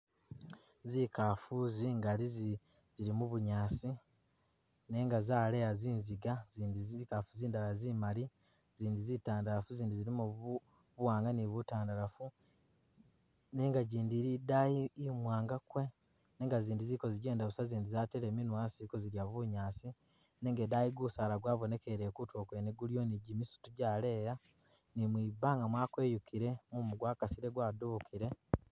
Zikaafu zingali zili mu bunyaasi nenga zaleya zinziga ne zikaafu zindala zimali, zindi zitandalafu zindi zilimo buwaanga ni butandalafu nenga jindi ili idaayi imwaanga kwe nenga zindi ziliko zigyenda busa zindi zateele minwa asi zili ko zidya bunyaasi, nenga idaayi gusaala gwabonekeleyo kutulo kuliko ni gimisitu gyaleeya ni mwibaanga mwakweyukile mumu gwakasile gwadubukile.